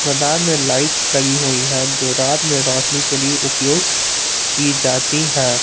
मेदान में लाइट लगी हुई है जो रात में रोशनी के लिए उपयोग की जाती है।